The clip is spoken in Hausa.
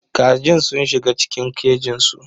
Kajin sun shiga cikin kejinsu.